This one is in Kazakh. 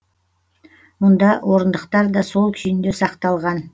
мұнда орындықтар да сол күйінде сақталған